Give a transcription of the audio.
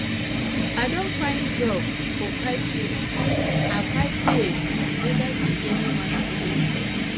i don find job for five years i five years i neva see anyone i don tire